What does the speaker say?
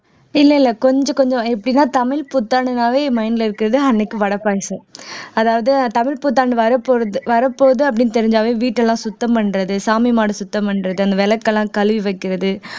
இல்ல இல்ல கொஞ்சம் கொஞ்சம் எப்படின்னா தமிழ் புத்தாண்டுனாவே mind ல இருக்கறது அன்னைக்கு வடை பாயசம் அதாவது தமிழ் புத்தாண்டு வரப்போறது வரப்போகுது அப்படின்னு தெரிஞ்சாவே வீட்டை எல்லாம் சுத்தம் பண்றது சாமி மாடை சுத்தம் பண்றது அந்த விளக்கு எல்லாம் கழுவி வைக்கிறது